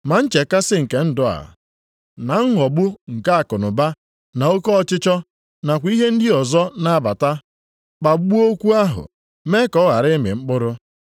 ma nchekasị nke ndụ a, + 4:19 Oge a nke anyị nọ nʼime ya na nghọgbu nke akụnụba, na oke ọchịchọ, nakwa ihe ndị ọzọ na-abata, kpagbuo okwu ahụ, mee ka ọ ghara ịmị mkpụrụ.